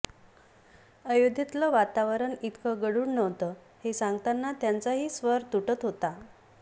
अयोध्येतलं वातावरण इतकं गढूळ नव्हतं हे सांगताना त्यांचाही स्वर तुटत होता